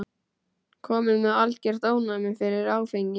Kominn með algert ofnæmi fyrir áfengi.